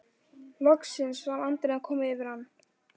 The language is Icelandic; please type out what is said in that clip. Loksins var andinn að koma yfir hann!